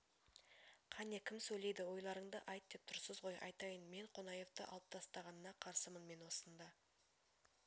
қане кім сөйлейді ойларыңды айт деп тұрсыз ғой айтайын мен қонаевты алып тастағанына қарсымын мен осында